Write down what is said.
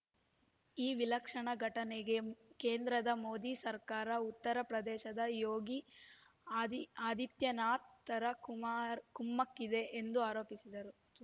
ಈ ವಿಲಕ್ಷಣ ಘಟನೆಗೆ ಕೇಂದ್ರದ ಮೋದಿ ಸರ್ಕಾರ ಉತ್ತರ ಪ್ರದೇಶದ ಯೋಗಿ ಆದಿ ಆದಿತ್ಯನಾಥ್‌ರ ಕುಮಾರ್ ಕುಮ್ಮಕ್ಕಿದೆ ಎಂದು ಆರೋಪಿಸಿದರು